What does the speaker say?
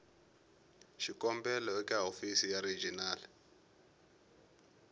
xikombelo eka hofisi ya regional